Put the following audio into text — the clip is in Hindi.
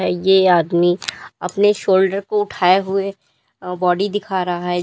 ये आदमी अपने शोल्डर को उठाए हुए बॉडी दिखा रहा है।